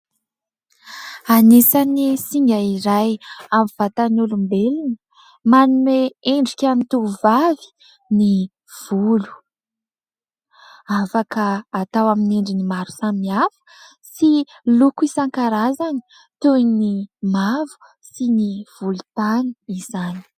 Anisan'ny singa iray amin'ny vatan'ny olombelona manome endrika ny tovovavy ny volo. Afaka atao amin'ny endriny maro samihafa sy loko isan-karazany toy ny mavo sy ny volontany izany.